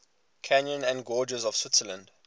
canyons and gorges of switzerland